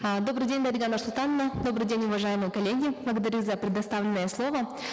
э добрый день дарига нурсултановна добрый день уважаемые коллеги благодарю за предоставленное слово